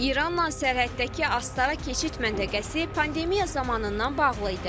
İranla sərhəddəki Astara keçid məntəqəsi pandemiya zamanından bağlı idi.